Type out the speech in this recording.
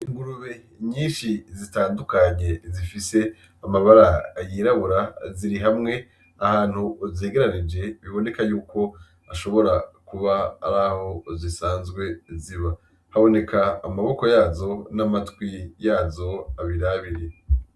Ingurube nyinshi zitandukanye zifise amabara ayirabura ziri hamwe ahantu uzegerarije biboneka yuko ashobora kuba ari aho zisanzwe ziba haboneka amaboko yazo n'amatwi yazo abirabiri.